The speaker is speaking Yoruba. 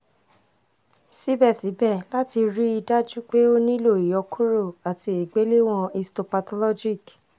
síbẹ̀síbẹ̀ láti rí i dájú pé ó nílò ìyọkuro àti ìgbéléwọ̀n histopathologic